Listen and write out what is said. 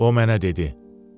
o mənə dedi: